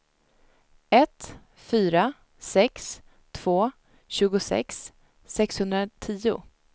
ett fyra sex två tjugosex sexhundratio